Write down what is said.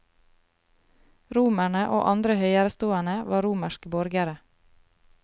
Romerne og andre høyerestående var romerske borgere.